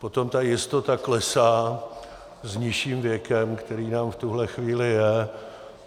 Potom ta jistota klesá s nižším věkem, který nám v tuhle chvíli je.